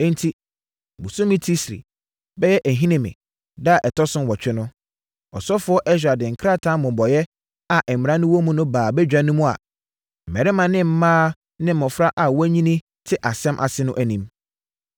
Enti, bosome Tisri (bɛyɛ Ahinime) da a ɛtɔ so nwɔtwe no, ɔsɔfoɔ Ɛsra de krataa mmobɔeɛ a mmara no wɔ mu no baa badwa no a mmarima ne mmaa ne mmɔfra a wɔanyini te asɛm ase no anim.